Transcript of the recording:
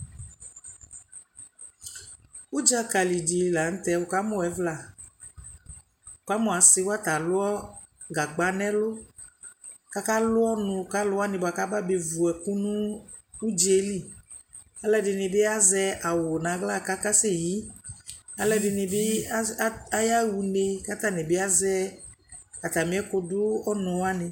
Ʋdzaka li dɩ la nʋ tɛ wʋkamʋ ɛvʋla Ɔkamʋ asɩ wa tɛ alʋ gagba nʋ ɛlʋ kʋ akalʋ ɔnʋ ka alʋ wanɩ bʋa kʋ aba bevu ɛkʋ nʋ ʋdza yɛ li Alʋ ɛdɩnɩ bɩ azɛ awʋ nʋ aɣla kʋ akaseyi Alʋ ɛdɩnɩ bɩ ata ayaɣa une kʋ atanɩ bɩ azɛ atamɩ ɛkʋdʋ ɔnʋ wanɩ